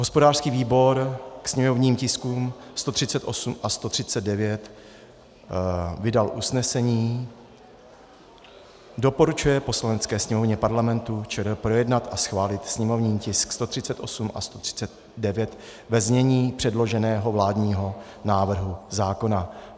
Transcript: Hospodářský výbor k sněmovním tiskům 138 a 139 vydal usnesení: Doporučuje Poslanecké sněmovně Parlamentu ČR projednat a schválit sněmovní tisk 138 a 139 ve znění předloženého vládního návrhu zákona.